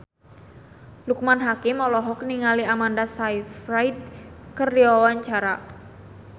Loekman Hakim olohok ningali Amanda Sayfried keur diwawancara